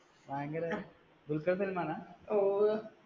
ഭയങ്കര ദുൽഖർ സൽമാന, ഓ